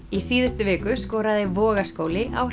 í síðustu viku skoraði Vogaskóli á